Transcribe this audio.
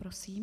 Prosím.